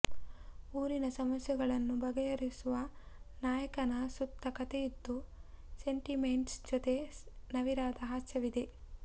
ಊರಿನ ಸಮಸ್ಯೆಗಳನ್ನು ಬಗೆಹರಿಸುವ ನಾಯಕನ ಸುತ್ತ ಕಥೆಯಿದ್ದು ಸೆಂಟಿಮೆಂಟ್ಸ್ ಜೊತೆ ನವಿರಾದ ಹಾಸ್ಯವಿದೆ